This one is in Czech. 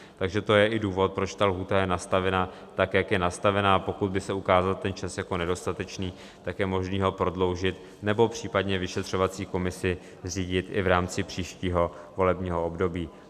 Takže to je i důvod, proč ta lhůta je nastavena tak, jak je nastavena, a pokud by se ukázal ten čas jako nedostatečný, tak je možné ho prodloužit nebo případně vyšetřovací komisi zřídit i v rámci příštího volebního období.